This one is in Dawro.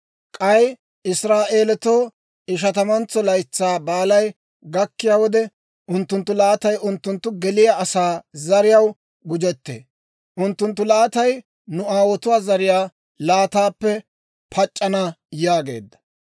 K'ay Israa'eelatoo Ishatamantso Laytsaa Baalay gakkiyaa wode, unttunttu laatay unttunttu geliyaa asaa zariyaw gujettee; unttunttu laatay nu aawotuwaa zariyaa laataappe pac'c'ana» yaageedda.